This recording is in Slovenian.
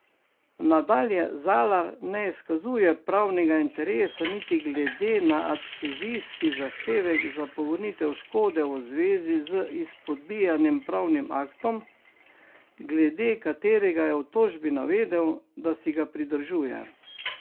Nadalje Zalar ne izkazuje pravnega interesa niti glede na adhezijski zahtevek za povrnitev škode v zvezi z izpodbijanim pravnim aktom, glede katerega je v tožbi navedel, da si ga pridržuje.